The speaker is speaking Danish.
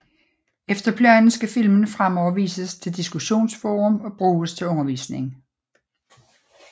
Efter planen skal filmen fremover vises til diskussionsforum og bruges til undervisning